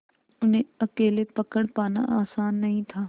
उन्हें अकेले पकड़ पाना आसान नहीं था